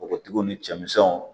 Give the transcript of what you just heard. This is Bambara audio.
Npogotigiw ni cɛ misɛnw